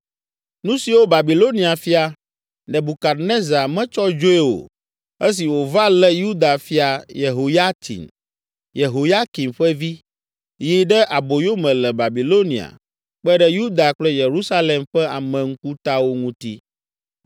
Nu siwo Babilonia fia, Nebukadnezar metsɔ dzoe o esi wòva lé Yuda fia Yehoyatsin, Yehoyakim ƒe vi, yi ɖe aboyome le Babilonia kpe ɖe Yuda kple Yerusalem ƒe ame ŋkutawo ŋuti.